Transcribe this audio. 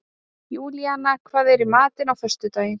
Júníana, hvað er í matinn á föstudaginn?